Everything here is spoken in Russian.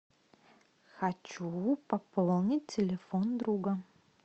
хочу пополнить телефон друга